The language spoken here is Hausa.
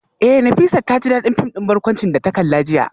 Eh Nafisat taji dadin film din barkwanci da ta kalla jiya